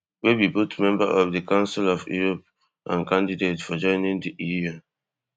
wey be both member of di council of europe and candidate for joining di eu